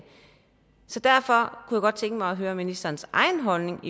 så derfor kunne jeg godt tænke mig at høre ministerens egen holdning